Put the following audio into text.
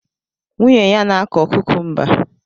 Nwunye ya na-akọ kukumba